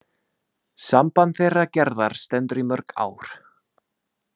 Samband þeirra Gerðar stendur í mörg ár.